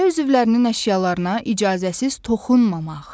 Ailə üzvlərinin əşyalarına icazəsiz toxunmamaq.